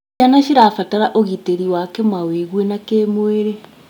Ciana cirabatara ũgitĩri wa kĩmawĩgwi na kĩmwĩrĩ.